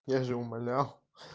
я же умолял